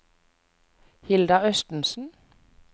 Hilda Østensen